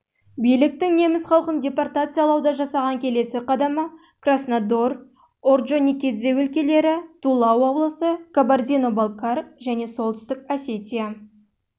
биліктің неміс халқын депортациялауда жасаған келесі қадамы краснодар орджоникидзе өлкелері тула облысы кабардино-балкар және солтүстік осетия